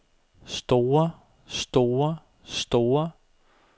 store store store